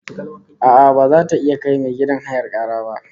A'a, baza ta iya kai mai gidan hayar kara ba